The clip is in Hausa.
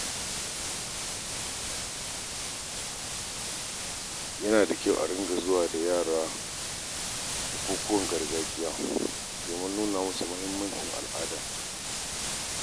Yana da kyau a ringa zuwa da yara bukukuwan gargajiya domin nuna musu muhimmancin al'ada.